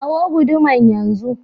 Kawo guduman yan zu.